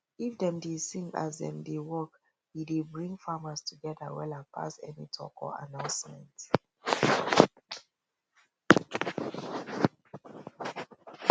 if dem dey sing as dem dey work e dey bring farmers togetther wella pass any talk or announcement